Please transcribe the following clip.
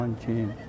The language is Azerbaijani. Qorxan kim?